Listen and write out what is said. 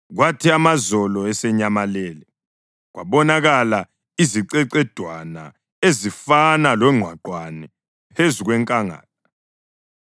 Kwathi amazolo esenyamalele kwabonakala izicecedwana ezifana longqwaqwane phezu kwenkangala.